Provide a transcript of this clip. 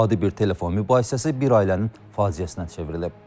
Adi bir telefon mübahisəsi bir ailənin faciəsinə çevrilib.